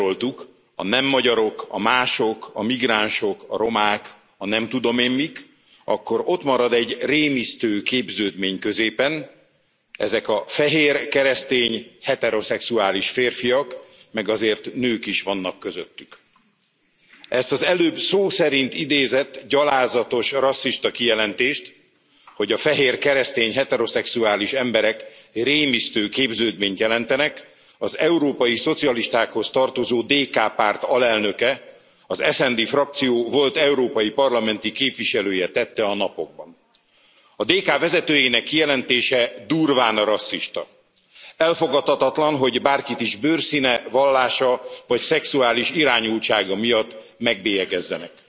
Hogyha megnézzük azt, hogy mi marad, ha lehántod ezeket a gyűlölet valamiket, ugye felsoroltuk a nem magyarok, a mások, a migránsok, a romák, a nem tudom én mik, akkor ott marad egy rémisztő képződmény középen. Ezek a fehér, keresztény, heteroszexuális férfiak, meg azért nők is vannak közöttük. Ezt az előbb szó szerint idézett, gyalázatos, rasszista kijelentést, hogy a fehér, keresztény, heteroszexuális emberek rémisztő képződményt jelentenek az európai szocialistákhoz tartozó DK párt alelnöke, az SD frakció volt európai parlamenti képviselője tette a napokban. A DK vezetőjének kijelentése durván rasszista. Elfogadhatatlan, hogy bárkit is bőrszíne, vallása vagy szexuális irányultsága miatt megbélyegezzenek.